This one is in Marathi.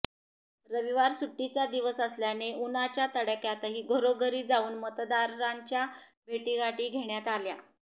रविवार सुट्टीचा दिवस असल्याने उन्हाच्या तडाख्यातही घरोघरी जाऊन मतदारांच्या भेटीगाठी घेण्यात आल्या